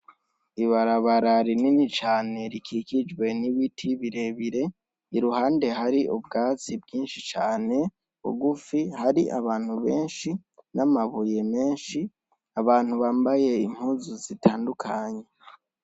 Ibarabara rinini cane, rikikijwe n'ibiti birebire, iruhande hari ubwatsi bwinshi cane bugufi hari abantu benshi n'amabuye menshi, abantu bambaye impuzu zitandukanye.